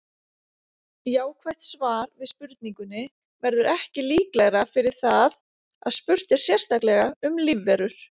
Jákvætt svar við spurningunni verður ekki líklegra fyrir það að spurt er sérstaklega um lífverur.